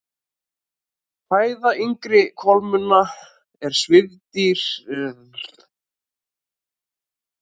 Fæða yngri kolmunna er svifdýr og fiskseiði en eldri fiskar éta ýmsar tegundir smáfiska.